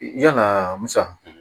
Yalaa musa